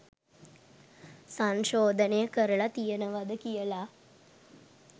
සංශෝධනය කරලා තියෙනවද කියල.